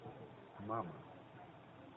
мама